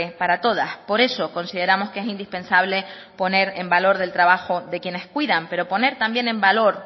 para todas por eso consideramos que es indispensable poner en valor del trabajo de quienes cuidan pero poner también en valor